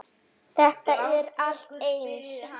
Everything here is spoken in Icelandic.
Þetta er allt eins!